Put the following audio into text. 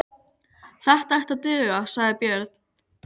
Þetta ætti að duga, sagði Björn.